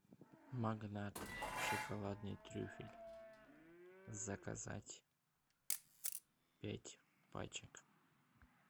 магнат шоколадный трюфель заказать пять пачек